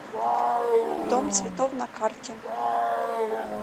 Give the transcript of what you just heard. дом цветов на карте